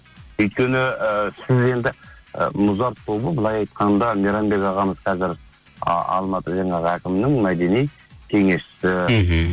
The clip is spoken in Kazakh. өйткені ііі сіз енді ы музарт тобы былай айтқанда мейрамбек ағамыз қазір а алматы жаңағы әкімнің мәдени кеңесшісі мхм